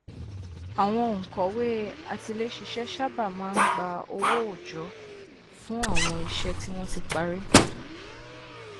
àwọn ònkọwé atiléṣiṣẹ sábà máa n gba owó òòjọ fún àwọn iṣẹ tí wọn ti parí